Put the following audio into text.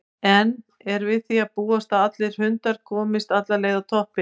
En er við því að búast að allir hundrað komist alla leið á toppinn?